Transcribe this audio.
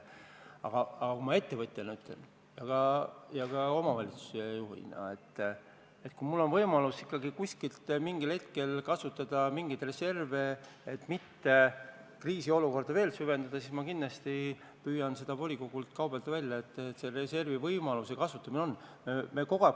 Aga rääkides ettevõtjana ja ka omavalitsuse juhina, siis kui mul on ikkagi võimalus mingil hetkel mingisuguseid reserve kasutada, et kriisiolukorda mitte süvendada, siis ma kindlasti püüaksin volikogult nende reservide kasutamise võimaluse välja kaubelda.